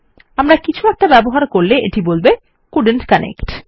আমরা কিছু একটা ব্যবহার করলে এটি বলবে কোল্ডেন্ট কানেক্ট